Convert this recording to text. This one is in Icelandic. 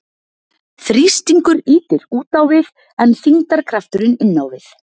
Þrýstingur ýtir út á við en þyngdarkrafturinn inn á við.